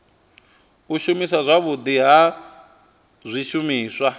u shumiswa zwavhudi ha zwishumiswa